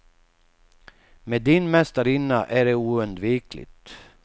Med din mästarinna är det oundvikligt.